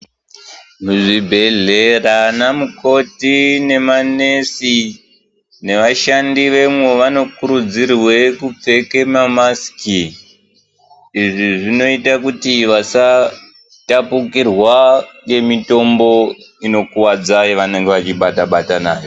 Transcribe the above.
Zvibhedhlera anamukoti nemanesi nevashandi vemwo vanokurudzirwe kupfeke mamasiki. Izvi zvinoite kuti vasatapukirwa ngemitombo inokuvadza yavanenge vachibata bata nayo.